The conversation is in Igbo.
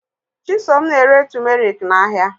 Chisom na-ere tụmeriki n'ahịa.